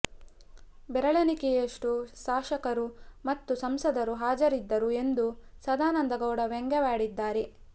ಬೆರಳಣಿಕೆಯಷ್ಟು ಸಾಶಕರು ಮತ್ತು ಸಂಸದರು ಹಾಜರಿದ್ದರು ಎಂದು ಸದಾನಂದ ಗೌಡ ವ್ಯಂಗ್ಯವಾಡಿದ್ದಾರೆ